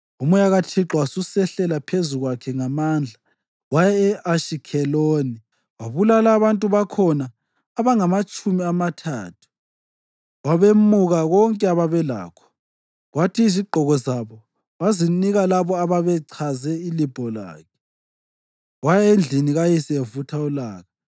UMoya kaThixo wasusehlela phezu kwakhe ngamandla. Waya e-Ashikheloni, wabulala abantu bakhona abangamatshumi amathathu, wabemuka konke ababelakho kwathi izigqoko zabo wazinika labo ababechaze ilibho lakhe. Waya endlini kayise evutha ulaka.